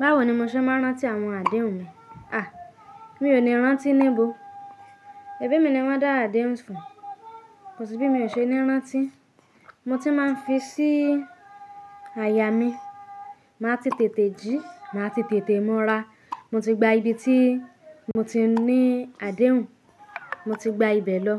Báwo ni mo ṣe máa ń rántí àwọn àdéhùn mi? À, mi ò ní rántí níbo. Èébí mi ni wọ́n dá àdéhùn fún, kò sí bí mi ò ṣe ní rántí. Mo ti máa ń fi sí àyà mi. Màá ti tètè jí, màá ti tètè mura. Mo ti gba ibi tí mo ti ní àdéhùn, mo ti gba ibẹ̀ lọ.